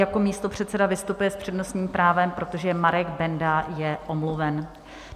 Jako místopředseda vystupuje s přednostním právem, protože Marek Benda je omluven.